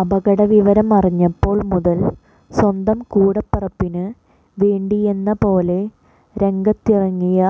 അപകട വിവരം അറിഞ്ഞപ്പോൾ മുതൽ സ്വന്തം കൂടപ്പിറപ്പിന് വേണ്ടിയെന്ന പോലെ രംഗത്തിറങ്ങിയ